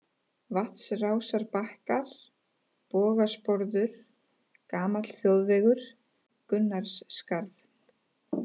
Vatnsrásarbakkar, Bogasporður, Gamall Þjóðvegur, Gunnarsskarð